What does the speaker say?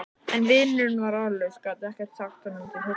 En vinurinn var orðlaus, gat ekkert sagt honum til huggunar.